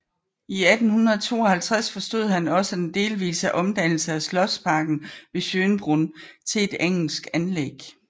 I 1852 forestod han også den delvise omdannelse af slotsparken ved Schönbrunn til et engelsk anlæg